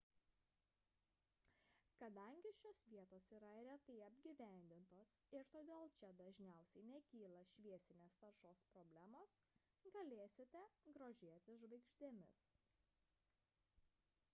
kadangi šios vietos yra retai apgyvendintos ir todėl čia dažniausiai nekyla šviesinės taršos problemos galėsite grožėtis žvaigždėmis